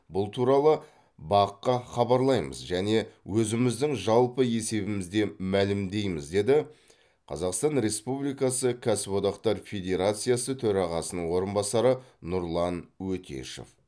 бұл туралы бақ қа хабарлаймыз және өзіміздің жалпы есебімізде мәлімдейміз деді қазақстан республикасы кәсіподақтар федерациясы төрағасының орынбасары нұрлан өтешев